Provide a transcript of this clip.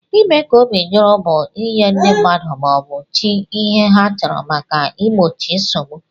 Ime ka obi juru bu inye ndi mmadu ma obu chi ihe ha chọrọ maka igbochi nsogbu.